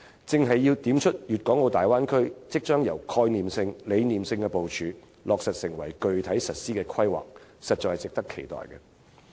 "這正正點出大灣區將由概念性、理念性的部署，落實成為具體實施規劃，實在值得期待。